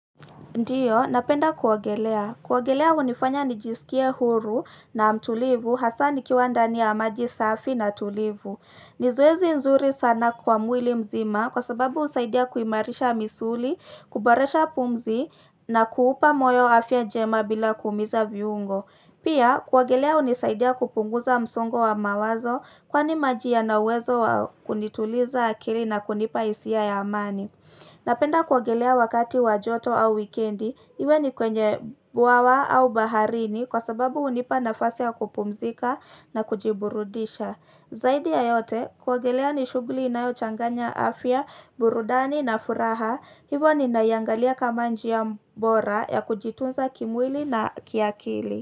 Ndio, napenda kuogelea. Kuogelea hunifanya nijisikie huru na mtulivu hasa nikiwa ndani ya maji safi na tulivu. Ni zoezi nzuri sana kwa mwili mzima kwa sababu husaidia kuimarisha misuli, kuboresha pumzi na kuupa moyo afya njema bila kuumiza viungo. Pia, kuogelea hunisaidia kupunguza msongo wa mawazo kwani maji yana uwezo wa kunituliza akili na kunipa hisia ya amani. Napenda kuogelea wakati wa joto au wikendi, iwe ni kwenye bwawa au baharini kwa sababu hunipa nafasi ya kupumzika na kujiburudisha. Zaidi ya yote, kuogelea ni shughuli inayochanganya afya, burudani na furaha, hivo ninaiangalia kama njia bora ya kujitunza kimwili na kiakili.